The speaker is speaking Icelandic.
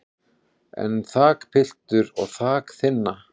en þakpiltur og þak þynna